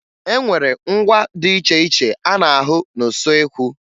E nwere ngwa dị iche iche a na-ahụ n'usoekwu